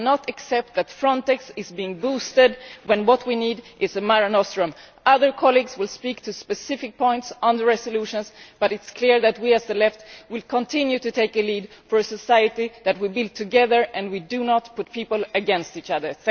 We cannot accept that Frontex is being boosted when what we need is a Mare Nostrum. Other colleagues will speak on specific points in the resolutions but it is clear that we, as the Left, will continue to take the lead for a society that we build together and where we do not turn people against each other.